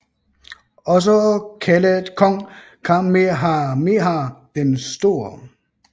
Også kaldet kong Kamehameha den Store